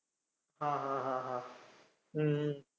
हां हां हां हां, हम्म